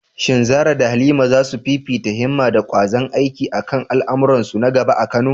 Shin Zarah da Halima za su fifita himma da ƙwazon aiki a kan al’amuransu na gaba a Kano?